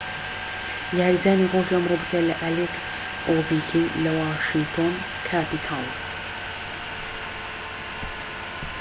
یاریزانی ڕۆژی ئەمڕۆ بریتیە لە ئەلێکس ئۆڤیکین لە واشینتۆن کاپیتاڵس